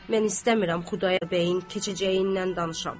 Mən istəmirəm Xudayar bəyin keçəcəyindən danışam.